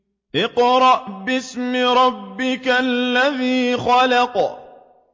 اقْرَأْ بِاسْمِ رَبِّكَ الَّذِي خَلَقَ